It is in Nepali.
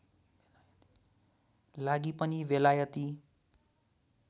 लागि पनि बेलायती